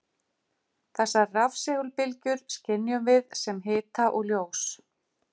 Þessar rafsegulbylgjur skynjum við sem hita og ljós.